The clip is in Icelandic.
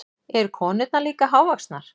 Eru konurnar líka hávaxnar?